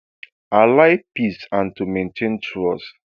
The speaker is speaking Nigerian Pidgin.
i like peace and to maintain trust